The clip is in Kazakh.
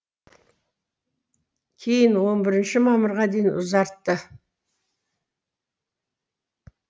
кейін он біріші мамырға дейін ұзартты